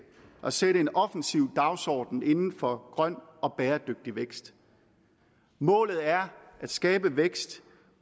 at sætte en offensiv dagsorden inden for grøn og bæredygtig vækst målet er at skabe vækst